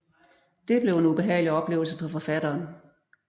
Det blev en ubehagelig oplevelse for forfatteren